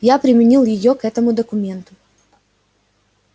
я применил её к этому документу